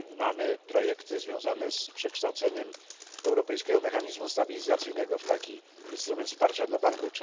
Mamy projekty związane z przekształceniem Europejskiego Mechanizmu Stabilizacji w taki instrument wsparcia dla banków.